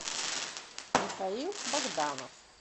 михаил богданов